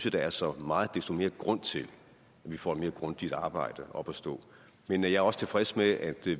at der er så meget desto mere grund til at vi får et mere grundigt arbejde op at stå men jeg er også tilfreds med at vi